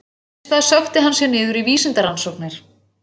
Þess í stað sökkti hann sér niður í vísindarannsóknir.